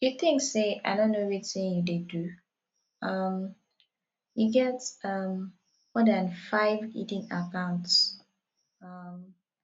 you think say i no know wetin you dey do um you get um more dan five hidden accounts um